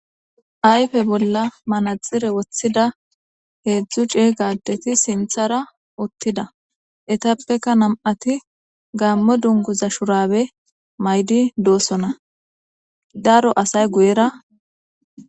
Ayfe bolla manaxire woththida heedzdzu cee gaadeti sinthara uttida etappeka nam'ati gaammo dunguza shurabe maydi doosona daro asay guyera